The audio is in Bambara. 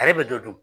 Ale bɛ dɔ dun